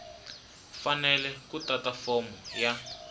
fanele ku tata fomo ya